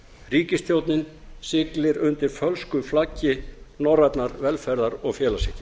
ríkisstjórnin siglir undir fölsku flaggi norrænnar velferðar og félagshyggju